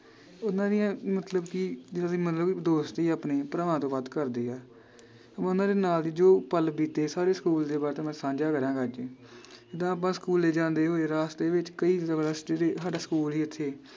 ਉਹਨਾਂ ਦੀਆਂ ਮਤਲਬ ਕਿ ਜਿਦਾਂ ਦੀ ਮਤਲਬ ਦੋਸਤੀ ਆਪਣੀ, ਭਰਾਵਾਂ ਤੋਂ ਵੱਧ ਕਰਦੇ ਆ ਉਹਨਾਂ ਦੇ ਨਾਲ ਈ ਜੋ ਪਲ ਬੀਤੇ ਸਾਰੇ ਸਕੂਲ ਦੇ but ਸਾਂਝਾ ਕਰਾਂਗਾ ਅੱਜ ਜਿਦਾਂ ਆਪਾਂ ਸਕੂਲੇ ਜਾਂਦੇ ਹੋਏ ਰਾਸਤੇ ਵਿਚ ਕਈ ਰਸਤੇ ਤੇ ਸਾਡਾ ਸਕੂਲ ਸੀ ਇਥੇ